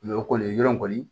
o kɔni yɔrɔ kɔni